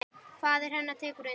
Faðir hennar tekur undir.